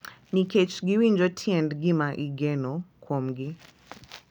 Nikech giwinjo tiend gima igeno kuomgi.